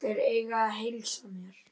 Þeir eiga að heilsa mér.